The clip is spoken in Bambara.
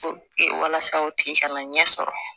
walasa o tigi kana ɲɛ sɔrɔ